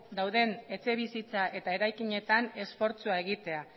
dauden etxebizitza eta eraikinetan esfortzua egitea